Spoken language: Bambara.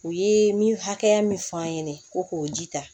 U ye mi hakɛya min fɔ an ɲɛnɛ ko k'o ji ta